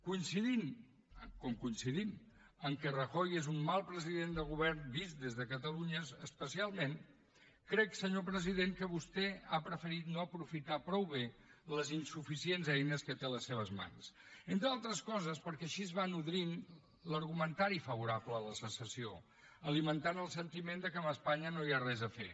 coincidint com coincidim que rajoy és un mal president de govern vist des de catalunya especialment crec senyor president que vostè ha preferit no aprofitar prou bé les insuficients eines que té a les seves mans entre altres coses perquè així es va nodrint l’argumentari favorable a la secessió alimentant el sentiment que amb espanya no hi ha res a fer